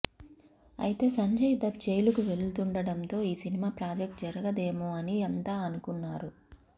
అయితే సంజయ్ దత్ జైలుకు వేలుతుండటంతో ఈ సినిమా ప్రాజెక్ట్ జరగదేమో అని అంతా అనుకున్నారు